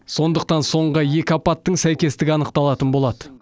сондықтан соңғы екі апаттың сәйкестігі анықталатын болады